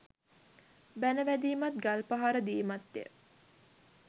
බැණ වැදීමත් ගල්පහර දීමත් ය